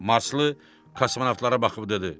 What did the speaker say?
Marslı kosmonavtlara baxıb dedi: